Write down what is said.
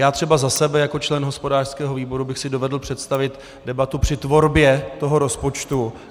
Já třeba za sebe jako člen hospodářského výboru bych si dovedl představit debatu při tvorbě toho rozpočtu.